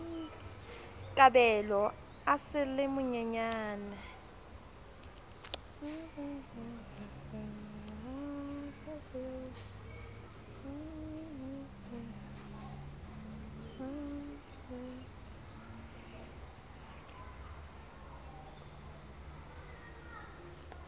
kabelo a sa le monyenyane